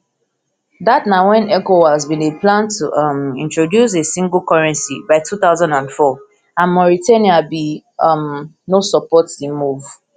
dat na wen ecowas bin dey plan to um introduce a single currency by two thousand and four and mauritania bin um no support di move